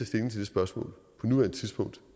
stilling til det spørgsmål på nuværende tidspunkt